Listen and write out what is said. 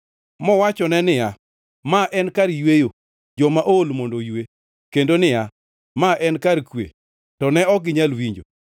Mowachone niya, “Ma en kar yweyo, joma ool mondo oywe.” Kendo niya, “Ma en kar kwe,” to ne ok ginyal winjo.